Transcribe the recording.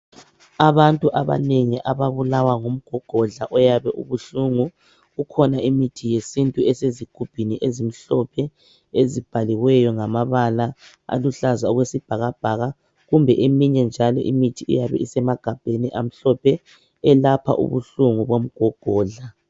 Abantu abanengi ababulawa ngumgomgodla oyabe ubuhlungu kukhona imithi yesintu esezigubhini ezimhlophe izibhaliweyo ngamabala aluhlaza okwesibhakabhaka kumbe eminye njalo imithi eyabe isemagabheni amhlophe elapha ubuhlungu bomgomgodla.